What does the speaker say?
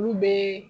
Olu bɛ